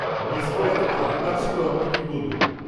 Miss করে এত খারাপ লাগছিল আমার, কী বলব।